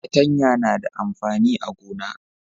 patanya na da amfani a gona